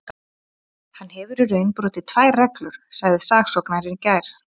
Hann hefur í raun brotið tvær reglur, sagði saksóknarinn í gær.